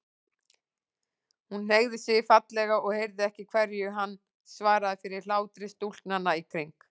Hún hneigði sig fallega og heyrði ekki hverju hann svaraði fyrir hlátri stúlknanna í kring.